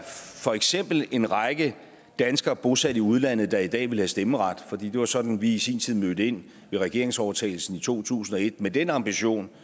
for eksempel en række danskere bosat i udlandet der i dag ville have stemmeret for det var sådan vi i sin tid mødte ind ved regeringsovertagelsen i to tusind og et altså med den ambition